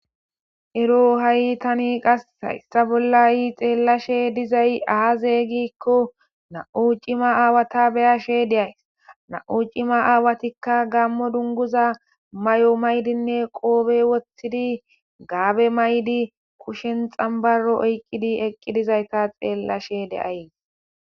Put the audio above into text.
ero ha7i tani qas issa bollayi xeellashe dizay aazeygikko na7u cima aawata beyashe deays na7u cima aawatikka gammo dunguza may7o maydinne qoobe woththidi gaabe maydi kushen xambaro oyqqidi eqqidizayta xeellashe deays